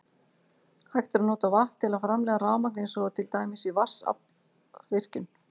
Hægt er að nota vatn til að framleiða rafmagn eins og til dæmis í vatnsaflsvirkjun.